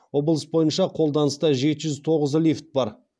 облыс бойынша қолданыста жеті жүз тоғыз лифт бар